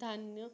धान्य